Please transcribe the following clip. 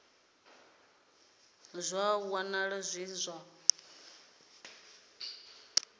ṱolwa zwa wanala zwi zwa